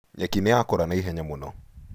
Nyeki nĩyakũra naihenya mũno.